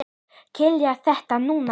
Kýla á þetta núna!